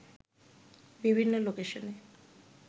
বিভিন্ন লোকেশনে